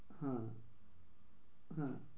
হ্যাঁ, হ্যাঁ